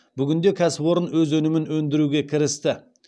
бүгінде кәсіпорын өз өнімін өндіруге кірісті